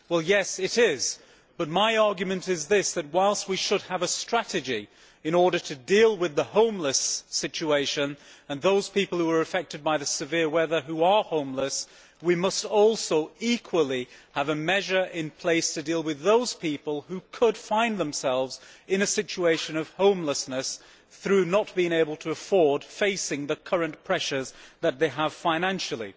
Well, yes it is, but my argument is that, whilst we should have a strategy in order to deal with the homeless situation and those people affected by the severe weather who are homeless, we must, equally, have a measure in place to deal with those people who could find themselves in a situation of homelessness through not being able to afford a place to live, in view of the current pressures that they have financially.